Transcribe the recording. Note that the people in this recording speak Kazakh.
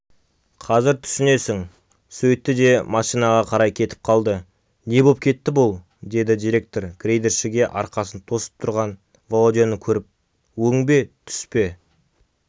қазір түсінесің сөйтті де машинаға қарай кетіп қалды не боп кетті бұл деді директор грейдершіге арқасын тосып тұрған володяны көріп өң бе түс пе